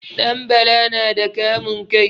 Ɗanbala na da kamun kai.